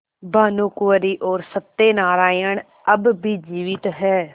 भानुकुँवरि और सत्य नारायण अब भी जीवित हैं